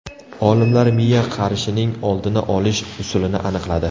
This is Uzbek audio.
Olimlar miya qarishining oldini olish usulini aniqladi.